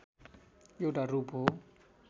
एउटा रूप हो